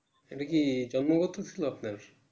এটাকি জন্মগত ছিল আপনার